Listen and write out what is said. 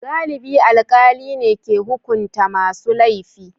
Galibi alkali ne ke hukunta masu laifi.